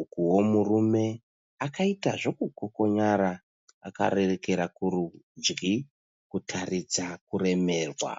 ukuwo murume akaita zvokukokonyara akarerekera kurudyi kutaridza kuremerwa.